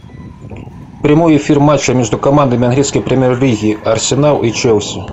прямой эфир матча между командами английской премьер лиги арсенал и челси